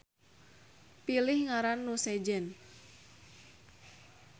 Pilih ngaran nu sejen